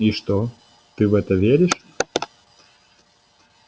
и что ты в это веришь